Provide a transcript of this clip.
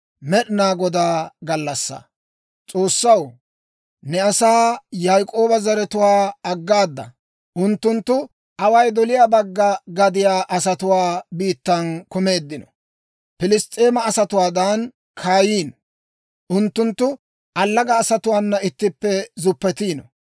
S'oossaw, ne asaa, Yaak'ooba zaratuwaa aggaada. Unttunttu away doliyaa bagga gadiyaa asatuwaa biittaan kumeeddino; Piliss's'eema asatuwaadan kaayiino. Unttunttu allaga asatuwaana ittippe zuppetiino.